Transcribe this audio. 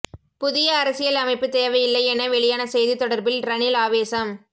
புதிய அரசியல் அமைப்பு தேவையில்லை என வெளியான செய்தி தொடர்பில் ரணில் ஆவேசம்